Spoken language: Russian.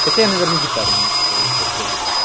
хотя я наверное гитару не настроил сейчас проверю